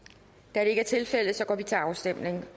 da det ikke er tilfældet går vi til afstemning